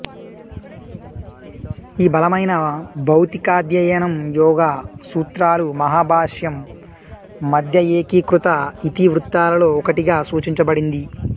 ఈ బలమైన భౌతికాధ్యయనం యోగా సూత్రాలు మహాభాష్యం మధ్య ఏకీకృత ఇతివృత్తాలలో ఒకటిగా సూచించబడింది